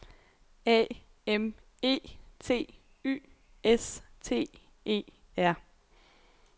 A M E T Y S T E R